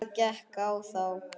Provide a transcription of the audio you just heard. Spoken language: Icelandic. Hvað gekk á þá?